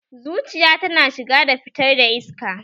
Zuciya tana shiga da fitar da iska